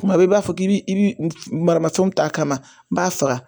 Kuma bɛɛ i b'a fɔ k'i bi i bi maramafɛnw ta a kama n b'a faga